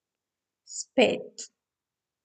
Spet.